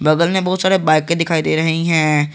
बगल में बहुत सारे बाइके भी दिखाई दे रही हैं।